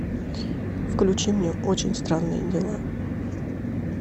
включи мне очень странные дела